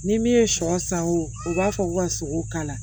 Ni min ye sɔ san o b'a fɔ k'u ka sogo kala